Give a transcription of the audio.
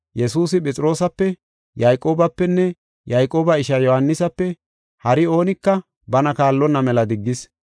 Yesuusi Phexroosape, Yayqoobapenne Yayqooba ishaa Yohaanisape hari oonika bana kaallonna mela diggis.